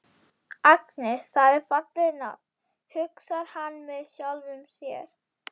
Agnes, það er fallegt nafn, hugsar hann með sjálfum sér.